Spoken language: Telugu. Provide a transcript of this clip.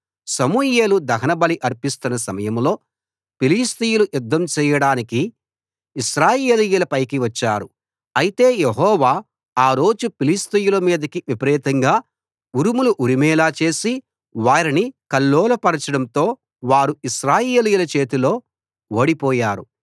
సమూయేలు దహనబలి అర్పిస్తున్న సమయంలో ఫిలిష్తీయులు యుద్ధం చేయడానికి ఇశ్రాయేలీయుల పైకి వచ్చారు అయితే యెహోవా ఆ రోజు ఫిలిష్తీయుల మీదికి విపరీతంగా ఉరుములు ఉరిమేలా చేసి వారిని కల్లోలపరచడంతో వారు ఇశ్రాయేలీయుల చేతిలో ఓడిపోయారు